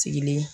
Sigilen